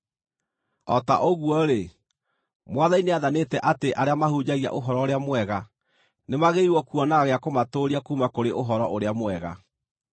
O ta ũguo-rĩ, Mwathani nĩathanĩte atĩ arĩa mahunjagia Ũhoro-ũrĩa-Mwega nĩmagĩrĩirwo kuonaga gĩa kũmatũũria kuuma kũrĩ Ũhoro-ũrĩa-Mwega.